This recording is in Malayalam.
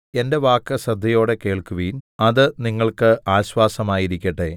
എന്റെ വാക്ക് ശ്രദ്ധയോടെ കേൾക്കുവിൻ അത് നിങ്ങൾക്ക് ആശ്വാസമായിരിക്കട്ടെ